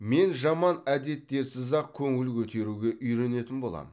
мен жаман әдеттерсіз ақ көңіл көтеруге үйренетін боламын